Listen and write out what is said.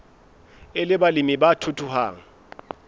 e le balemi ba thuthuhang